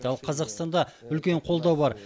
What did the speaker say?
ал қазақстанда үлкен қолдау бар